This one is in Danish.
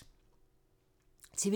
TV 2